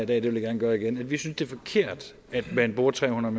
det vil jeg gerne gøre igen at vi synes det er forkert at man bruger tre hundrede